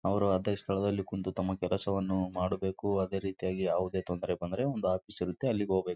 ಪಕ್ಕದಲ್ಲಿ ನಾಲ್ಕು ಬಾಟಲ್ ಗಳನ್ನು ಇಟ್ಟಿದ್ದಾನೆ ಮೇಲ್ಗಡೆ ಫ್ಯಾನ್ ಕಾಣುತ್ತಿದೆ.